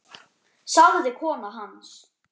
sagði kona hans.